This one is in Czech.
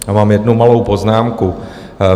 A mám jednu malou poznámku.